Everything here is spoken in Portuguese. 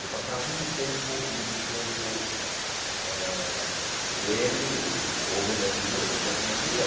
Eu passava muito tempo muito tempo eh lendo ou vendo as figuras enquanto não lia.